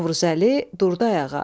Novruzəli durdu ayağa.